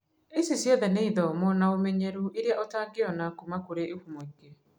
Ici ciothe n ithomo na ũmenyeru iria ũtangĩona kuma kũrĩ ihumo ingĩ